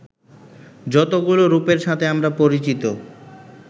যতগুলো রূপের সাথে আমরা পরিচিত